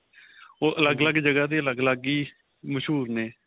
ਉਹ ਅਲੱਗ ਅਲੱਗ ਜਗ੍ਹਾ ਦੇ ਅਲੱਗ ਅਲੱਗ ਹੀ ਮਸ਼ਹੂਰ ਨੇ